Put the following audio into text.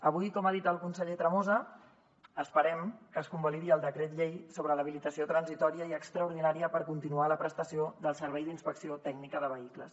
avui com ha dit el conseller tremosa esperem que es convalidi el decret llei sobre l’habilitació transitòria i extraordinària per continuar la prestació del servei d’inspecció tècnica de vehicles